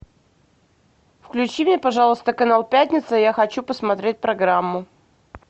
включи мне пожалуйста канал пятница я хочу посмотреть программу